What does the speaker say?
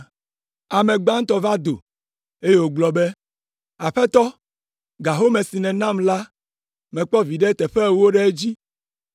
“Ame gbãtɔ va do, eye wògblɔ be, ‘Aƒetɔ, ga home si nènam la mekpɔ viɖe teƒe ewo ɖe edzi.’